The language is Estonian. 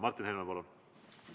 Martin Helme, palun!